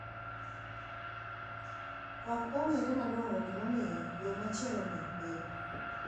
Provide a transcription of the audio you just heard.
Okong`ere malong`o gimomiyo yo machielo ni bedo.